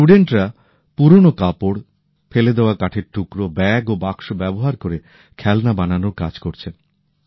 এই ছাত্রছাত্রীরা পুরোনো কাপড় ফেলে দেওয়া কাঠের টুকরো ব্যাগ ও বাক্স ব্যবহার করে খেলনা বানানোর কাজ করছেন